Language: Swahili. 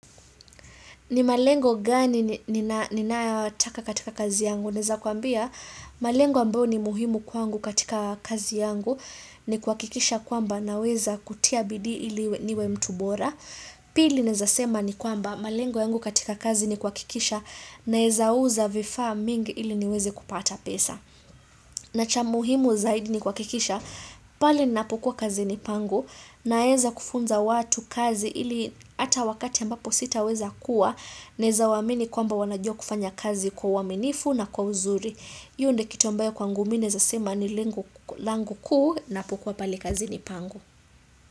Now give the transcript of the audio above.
Ni malengo gani ninaataka katika kazi yangu? Naeza kuambia malengo ambayo ni muhimu kwangu katika kazi yangu ni kua kikisha kwamba na weza kutia bidii ili niwe mtubora. Pili naeza sema ni kwamba malengo yangu katika kazi ni kua kikisha naeza uza vifaa mingi ili niweze kupata pesa. Na cha muhimu zaidi ni kua kikisha pale napokuwa kazi ni pangu naeza kufunza watu kazi ili hata wakati ambapo sita weza kuwa naeza waamini kwamba wanajua kufanya kazi kwa uwaminifu na kwa uzuri. Hio ndio kitu ambayo kwangu minae za sema ni langu kuu napokuwa pale kazi ni pangu.